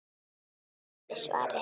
Viðbót við svarið